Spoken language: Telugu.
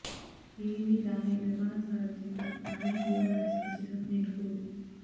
డివివి దానయ్య నిర్మాణ సారధ్యంలో నాని హీరోగా నటిస్తున్న చిత్రం నిన్ను కోరి